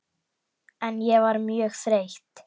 En ég var mjög þreytt.